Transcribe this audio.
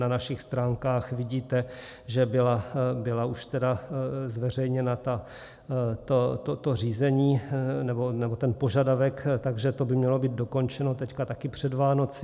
Na našich stránkách vidíte, že bylo už tedy zveřejněno to řízení, nebo ten požadavek, takže to by mělo být dokončeno teď také před Vánoci.